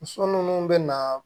Muso munnu be na